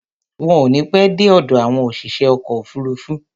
Wọn ò ní pẹ́ dé ọ̀dọ̀ àwọn òṣìṣẹ́ ọkọ̀ òfuruufú.